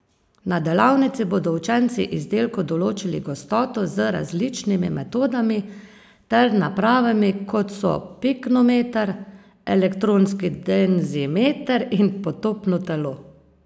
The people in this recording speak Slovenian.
Na delavnici bodo učenci izdelku določili gostoto z različnimi metodami ter napravami, kot so piknometer, elektronski denzimeter in potopno telo.